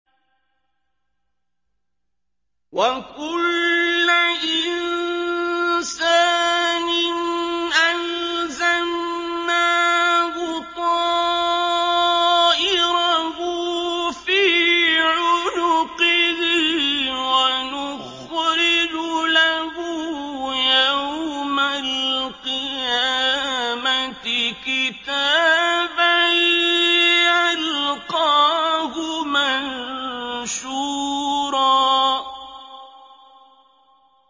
وَكُلَّ إِنسَانٍ أَلْزَمْنَاهُ طَائِرَهُ فِي عُنُقِهِ ۖ وَنُخْرِجُ لَهُ يَوْمَ الْقِيَامَةِ كِتَابًا يَلْقَاهُ مَنشُورًا